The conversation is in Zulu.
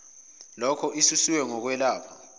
loko isusiwe ngokwelapha